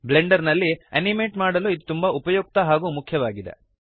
Blender ನಲ್ಲಿ animate ಮಾಡಲು ಇದು ತುಂಬಾ ಉಪಯುಕ್ತ ಹಾಗೂ ಮುಖ್ಯವಾಗಿದೆ